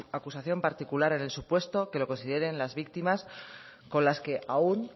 acusación particular en el supuesto que lo consideren las víctimas con las que aún